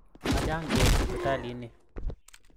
Machang' peek sipitalit ni